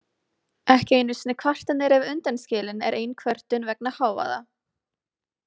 Ekki einu sinni kvartanir ef undan skilin er ein kvörtun vegna hávaða.